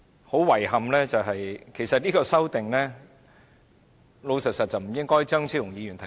很遺憾，我要坦白說，這項修正案本來不應該由張超雄議員提出。